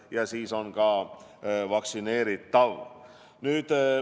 Ja siis on ka vaktsineeritav.